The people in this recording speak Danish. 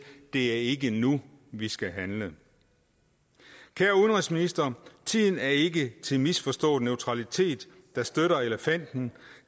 det er ikke nu vi skal handle kære udenrigsminister tiden er ikke til misforstået neutralitet der støtter elefanten